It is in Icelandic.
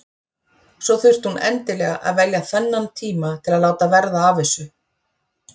Svo þurfti hún endilega að velja þennan tíma til að láta verða af þessu.